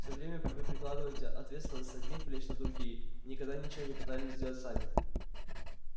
всё время вы перекладываете ответственность с одних плеч на другие и никогда ничего не пытались сделать сами